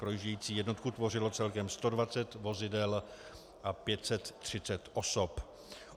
Projíždějící jednotku tvořilo celkem 120 vozidel a 530 osob.